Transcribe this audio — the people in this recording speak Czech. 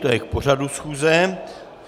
To je k pořadu schůze.